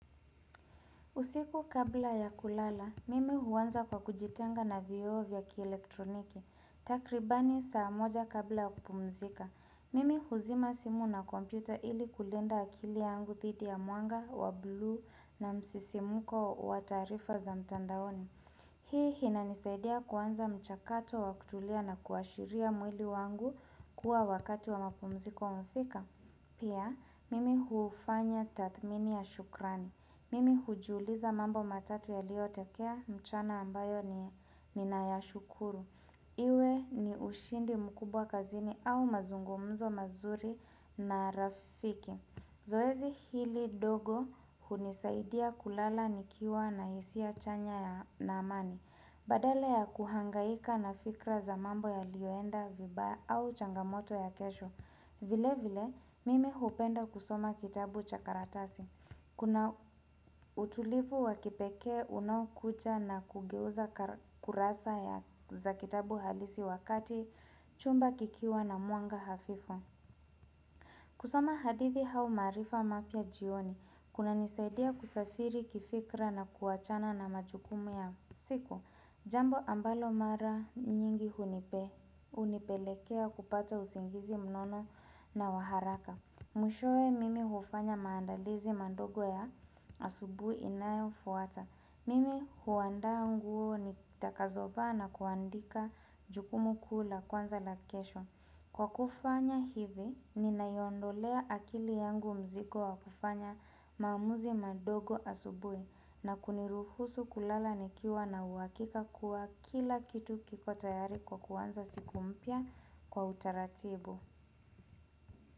Usiku kabla ya kulala, mimi huanza kwa kujitenga na vioo vya ki elektroniki. Takribani saa moja kabla ya kupumzika. Mimi huzima simu na kompyuta ili kulinda akili yangu dhidi ya mwanga wa buluu na msisimuko wa taarifa za mtandaoni. Hii inanisaidia kuanza mchakato wa kutulia na kuashiria mwili wangu kuwa wakati wa mapumziko umefika. Pia, mimi huufanya tathmini ya shukrani. Mimi hujiuliza mambo matatu yaliotokea mchana ambayo ninayashukuru. Iwe ni ushindi mkubwa kazini au mazungumzo mazuri na rafiki. Zoezi hili ndogo hunisaidia kulala nikiwa na isia chanya ya na amani. Badala ya kuhangaika na fikra za mambo yalioenda vibaya au changamoto ya kesho. Vile vile, mimi hupenda kusoma kitabu cha karatasi. Kuna utulivu wakipekee unaokuja na kugeuza kurasa ya za kitabu halisi wakati, chumba kikiwa na mwanga hafifu. Kusoma hadithi au maarifa mapya jioni, kunanisaidia kusafiri kifikra na kuachana na majukumu ya siku. Jambo ambalo mara nyingi hunipelekea kupata usingizi mnono na wa haraka. Mwishowe mimi hufanya maandalizi mandogo ya asubui inayo fuata. Mimi huandaa nguo nitakazovaa na kuandika jukumu kuu la kwanza la kesho. Kwa kufanya hivi, ninaiondolea akili yangu mzigo wa kufanya maamuzi mandogo asubui na kuniruhusu kulala nikiwa na uhakika kuwa kila kitu kiko tayari kwa kuanza siku mpya kwa utaratibu.